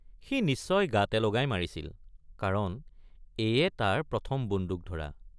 সি নিশ্চয় গাতে লগাই মাৰিছিল কাৰণ এয়ে তাৰ প্ৰথম বন্দুক ধৰা।